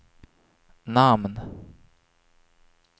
namn